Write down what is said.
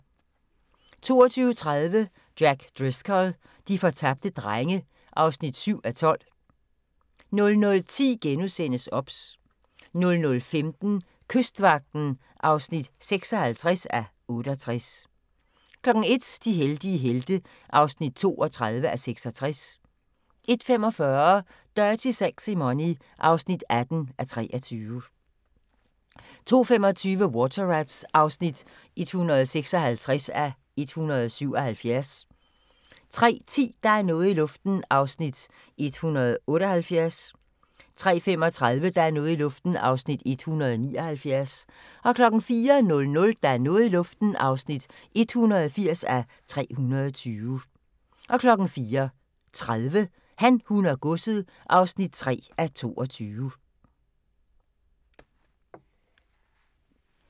22:30: Jack Driscoll - de fortabte drenge (7:12) 00:10: OBS * 00:15: Kystvagten (56:68) 01:00: De heldige helte (32:66) 01:45: Dirty Sexy Money (18:23) 02:25: Water Rats (156:177) 03:10: Der er noget i luften (178:320) 03:35: Der er noget i luften (179:320) 04:00: Der er noget i luften (180:320) 04:30: Han, hun og godset (3:22)